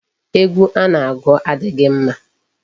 Egwu a na-agụ adịghị mma.